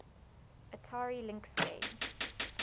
atari lynx games